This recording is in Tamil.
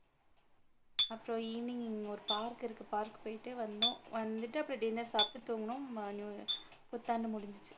அப்புறம் evening இங்க ஒரு park இருக்கு park போயிட்டு வந்தோம் வந்துட்டு அப்புறம் dinner சாப்பிட்டு தூங்குனோம் புத்தாண்டு முடிஞ்சுச்சு.